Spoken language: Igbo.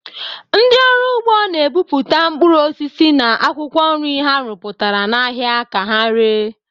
Ndị ọrụ ugbo na-ebute mkpụrụ osisi na akwụkwọ nri ha rụpụtara n'ahịa ka ha ree.